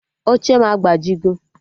Oche m agbajigo